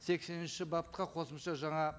сексенінші бапқа қосымша жаңа